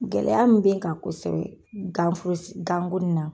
Gɛlɛya min be n kan kosɛbɛ gan ko s gan ko nin na